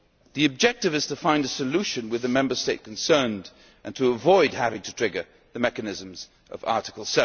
The objective is to find a solution with the Member State concerned and to avoid having to trigger the mechanisms of Article